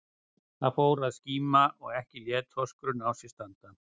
Það fór að skíma og ekki lét þorskurinn á sér standa.